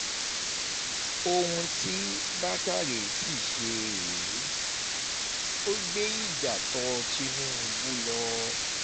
ohun tí bákórè sì ṣe rèé ò gbé ìjà tó tìlúbù lọ